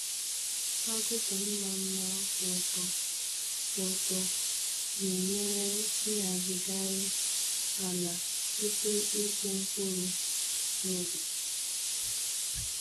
Agụkpụ mma mma kwụ ọtọ kwụ ọtọ na-enyere ịhazigharị ala tupu ịkụ mkpụrụ n’ubi